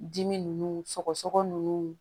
Dimi ninnu sɔgɔ nunnu